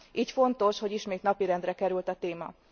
Így fontos, hogy ismét napirendre került a téma.